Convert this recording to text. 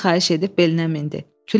Ondan xahiş edib belinə mindi.